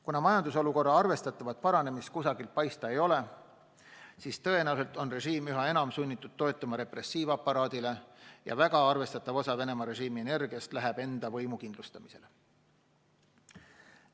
Kuna majandusolukorra arvestatavat paranemist kusagilt paista ei ole, siis tõenäoliselt on režiim üha enam sunnitud toetuma repressiivaparaadile ja väga arvestatav osa Venemaa režiimi energiast läheb enda võimu kindlustamisele.